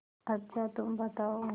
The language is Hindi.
अच्छा तुम बताओ